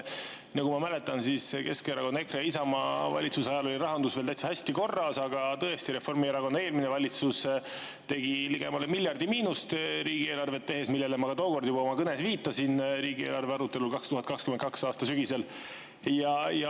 Kui Keskerakonna, EKRE ja Isamaa valitsuse ajal oli rahandus veel täitsa heas korras, siis tõesti, Reformierakonna eelmine valitsus riigieelarve ligemale miljardi miinusesse, millele ma tookord juba oma kõnes riigieelarve arutelul 2022. aasta sügisel viitasin.